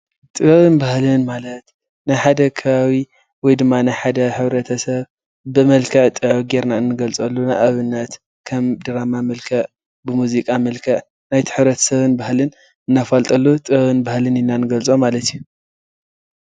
ጥበብን ባህልን ማለት ናይ ሓደ ከባቢ ወይ ድማ ናይ ሓደ ሕብረተሰብ ብመልክዕ ጥበብ ጌርና እኒገልፀሉ ንኣብነት ከም ድራማ መልክዕ ብ ሙዚቃ መልክዕ ናይ ቲ ሕብረተሰብን ባህልን እነፋልጠሉ ጥበብን ባህልን ኢልና ንገልፆ ማለት እዩ፡፡